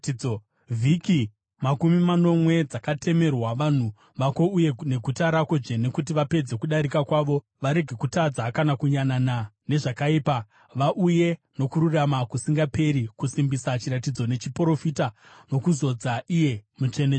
“Vhiki makumi manomwe dzakatemerwa vanhu vako uye neguta rako dzvene kuti vapedze kudarika kwavo, varege kutadza, kana kuyanana nezvakaipa, vauye nokururama kusingaperi, kusimbisa chiratidzo nechiprofita nokuzodza iye mutsvene-tsvene.